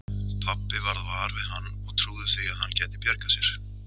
Pabbi varð var við hann og trúði því að hann gæti bjargað sér.